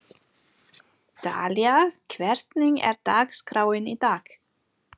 Dalía, hvernig er dagskráin í dag?